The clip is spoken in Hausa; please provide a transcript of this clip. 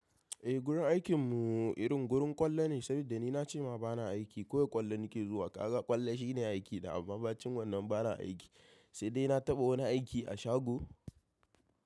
Eh gurin aikin mu irin gurin kwallo ne saboda ni na ce ma ba na aiki kawai ni kwallo nake zuwa. Kaga kwallo shine aikna bacin wannan ba na aiki sai dai na taɓa wani aiki a shago.